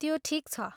त्यो ठिक छ।